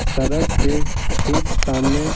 सड़क के ठीक सामने--